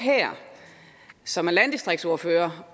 som er landdistriktsordførere